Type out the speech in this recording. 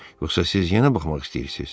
Yoxsa siz yenə baxmaq istəyirsiz?